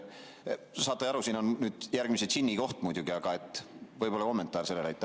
Saate ju aru, et siin on nüüd järgmise džinni koht muidugi, aga võib-olla saaksin kommentaari selle kohta.